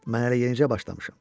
Mən hələ yenicə başlamışam.